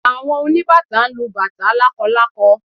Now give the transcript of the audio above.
Àwọn oníbàtá ń lu bàtá lákọlákọ